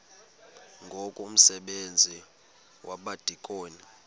ngoku umsebenzi wabadikoni